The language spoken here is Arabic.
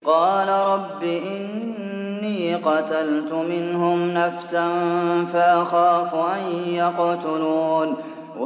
قَالَ رَبِّ إِنِّي قَتَلْتُ مِنْهُمْ نَفْسًا فَأَخَافُ أَن يَقْتُلُونِ